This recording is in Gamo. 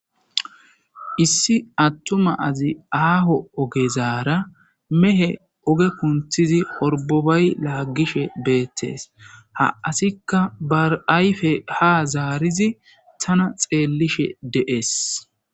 Issi attuma azi aaho oge zaara mehe oge kunthizi horbobay laagishe beettes ha asikka bar'ayfe ha zaarizi tana xeellishe de'es.